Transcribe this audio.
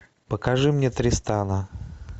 покажи мне тристана